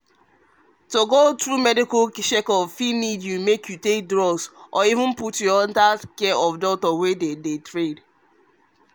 to go through medical checkup fit need make you take drugs but under the care of doctor wey them train